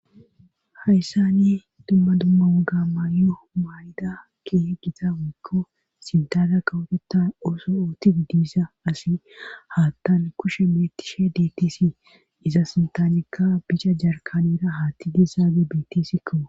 hayssani dumma dumma uga mayo mayda ke gita woikko sintada kawotetta oso ooti uddiisa asi hattan kushe mettishe detisi iza sintanikka bicha jarkanera haatti dessaage betisikko